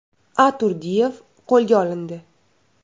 A.Turdiyev qo‘lga olindi.